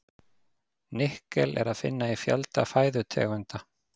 Nikkel er að finna í fjölda fæðutegunda.